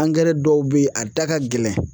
dɔw bɛ ye a da ka gɛlɛn.